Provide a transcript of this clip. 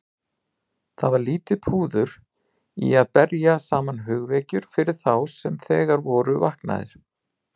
Það var lítið púður í að berja saman hugvekjur fyrir þá sem þegar voru vaknaðir.